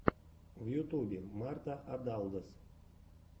в ютубе марта адалдос